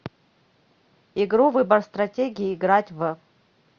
игру выбор стратегии играть в